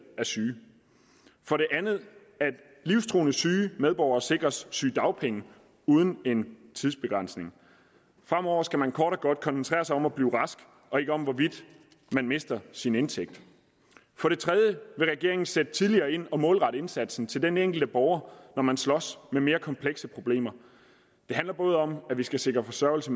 er syge for det andet at livstruende syge medborgere sikres sygedagpenge uden en tidsbegrænsning og fremover skal man kort og godt koncentrere sig om at blive rask og ikke om hvorvidt man mister sin indtægt for det tredje vil regeringen sætte tidligere ind og målrette indsatsen til den enkelte borger når man slås med mere komplekse problemer det handler både om at vi skal sikre forsørgelse